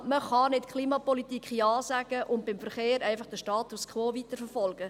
Man kann nicht Ja zur Klimapolitik sagen und beim Verkehr einfach den Status quo weiterverfolgen.